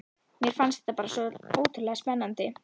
Mér fannst þetta bara svo ótrúlega spennandi.